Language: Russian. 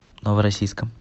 новороссийском